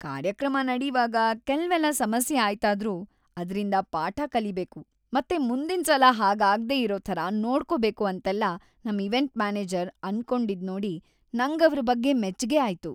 ಕಾರ್ಯಕ್ರಮ ನಡೀವಾಗ ಕೆಲ್ವೆಲ್ಲ ಸಮಸ್ಯೆ ಆಯ್ತಾದ್ರೂ, ಅದ್ರಿಂದ ಪಾಠ ಕಲಿಬೇಕು ಮತ್ತೆ ಮುಂದಿನ್ಸಲ ಹಾಗಾಗ್ದೇ ಇರೋ ಥರ ನೋಡ್ಕೊಬೇಕು ಅಂತೆಲ್ಲ ನಮ್ ಈವೆಂಟ್ ಮ್ಯಾನೇಜರ್ ಅನ್ಕೊಂಡಿದ್ನೋಡಿ ನಂಗವ್ರ್‌ ಬಗ್ಗೆ ಮೆಚ್ಗೆ ಆಯ್ತು.